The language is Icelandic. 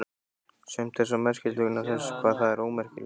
Sumt er svo merkilegt vegna þess hvað það er ómerkilegt.